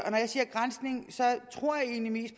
når jeg siger granskning tror jeg egentlig